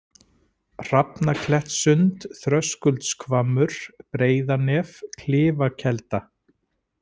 Hrafnaklettssund, Þröskuldshvammur, Breiðanef, Klifakelda